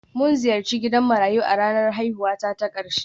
Mun ziyarci gidan marayu a ranar haihuwata ta ƙarshe